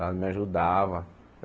Ela me ajudava.